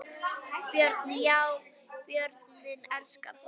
Björn: Já börnin elska það?